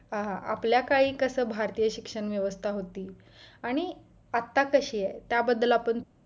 पहा आपल्या काळी कस भारतीय शिक्षण व्यवस्था होती आणि आता कशी आहे त्या बद्दल आपण